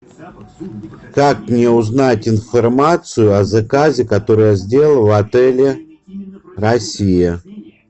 как мне узнать информацию о заказе который я сделал в отеле россия